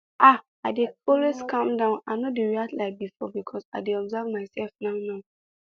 ah i dey always calm down i no dey react like before because i dey observe my self now now